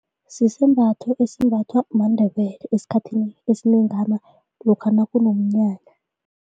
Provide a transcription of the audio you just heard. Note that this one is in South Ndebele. Sisembatho esimbathwa maNdebele esikhathini esinengana lokha nakunomnyanya.